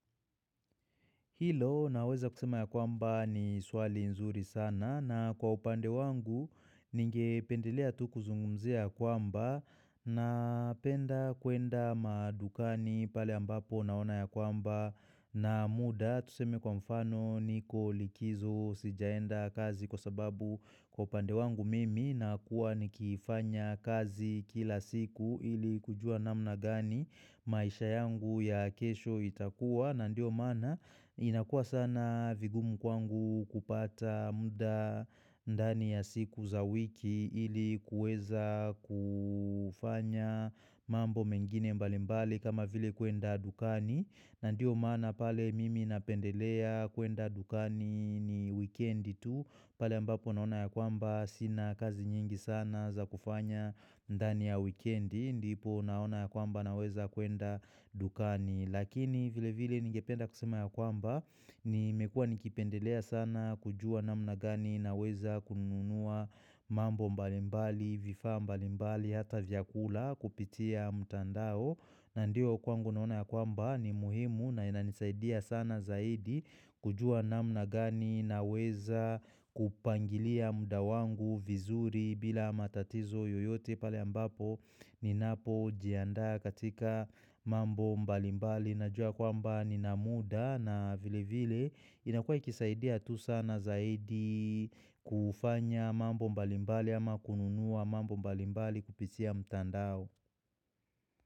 Hilo naweza kusema ya kwamba ni swali zuri sana na kwa upande wangu ningependelea tu kuzungumzia kwamba na penda kuenda madukani pale ambapo naona ya kwamba na muda tusemi kwa mfano niko likizo sijaenda kazini kwa sababu kwa upande wangu mimi na kuwa nikifanya kazi kila siku ili kujua namna gani maisha yangu ya kesho itakuwa na ndio mana inakua sana vigumu kwangu kupata muda ndani ya siku za wiki ili kueza kufanya mambo mengine mbalimbali kama vile kuenda dukani. Na ndiyo mana pale mimi napendelea kuenda dukani ni weekend tu. Pale mbapo naona ya kwamba sina kazi nyingi sana za kufanya ndani ya weekend. Ndi ndipo naona ya kwamba na weza kuenda dukani. Lakini vile vile ningependa kusema ya kwamba, ni mekua nikipendelea sana kujua namna gani na weza kununua mambo mbalimbali, vifa mbalimbali, hata vyakula kupitia mtandao. Na ndio kwangu naona ya kwamba ni muhimu na inanisaidia sana zaidi kujua namna gani na weza kupangilia mudawangu vizuri bila matatizo yoyote pale ambapo Ninapo jianda katika mambo mbalimbali Najua kwamba ninamuda na vile vile inakua ikisaidia tu sana zaidi kufanya mambo mbalimbali ama kununua mambo mbalimbali kupisia mtandao.